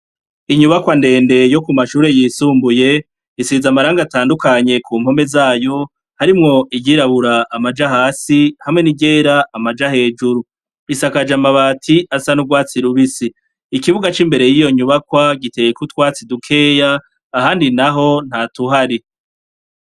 Inyubakwandende yo ku mashure yisumbuye isiza amaranga atandukanye ku mpome zayo harimwo iyirabura amaja hasi hamwe n'igera amaja hejuru isakaje amabati asa n'urwatsi lubisi ikibuga c'imbere y'iyo nyubakwa giteyekutwatsi dukeya ahandi na ho nta tuhari.